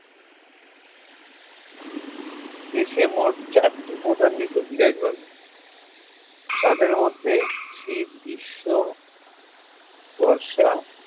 দেশে মোট চারটি প্রধান ঋতু বিরাজমান দের মধ্যে শীত গ্রীষ্ম বর্ষা